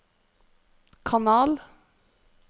kanal